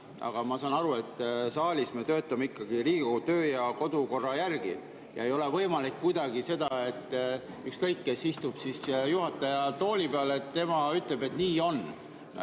Aga ma saan aru, et saalis me töötame ikkagi Riigikogu töö‑ ja kodukorra järgi ja ei ole kuidagi võimalik, et ükskõik, kes istub juhataja tooli peal, siis tema ütleb ja nii on.